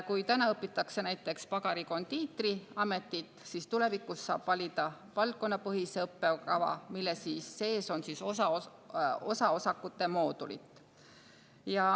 Kui praegu õpitakse näiteks pagari-kondiitriametit, siis tulevikus saab valida valdkonnapõhise õppekava, mille sees on moodulid.